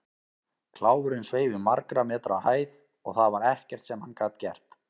Kláfurinn sveif í margra metra hæð og það var ekkert sem hann gat gert.